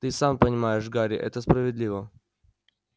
ты и сам понимаешь гарри это справедливо